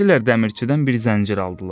Getdilər dəmirçidən bir zəncir aldılar.